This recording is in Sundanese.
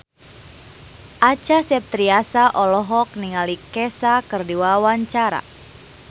Acha Septriasa olohok ningali Kesha keur diwawancara